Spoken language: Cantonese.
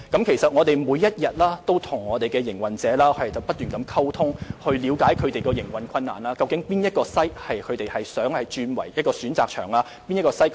其實，我們每天都與營運者溝通，了解他們的營運困難，或想將哪些場地轉為可選擇場地。